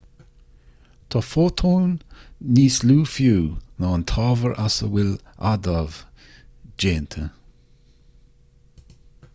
tá fótóin níos lú fiú ná an t-ábhar as a bhfuil adaimh déanta